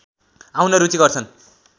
आउन रुचि गर्छन्